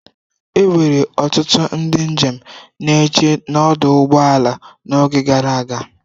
Enwere ọtụtụ ndị njem na-eche n'ọdụ ụgbọ ala n'oge gara aga.